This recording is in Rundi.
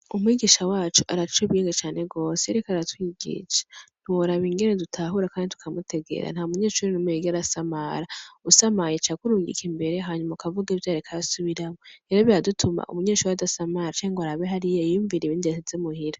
Umwigisha wacu araciye ubwenge cane gwose iyo ariko aratwigisha ntiworaba ingene dutahura kandi tukamutegera ntamunyeshure numwe yigera asamara usamaye aca akurungika imbere hanyuma ukavuga ivyo yariko arasubiramwo, rero biradutuma umunyeshure adasamara canke ngwarabe hariya yiyunvire ibindi yasize muhira.